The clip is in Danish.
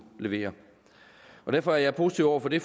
levere derfor er jeg positiv over for det